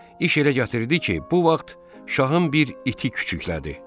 İş elə gətirdi ki, bu vaxt şahın bir iti küçüklədi.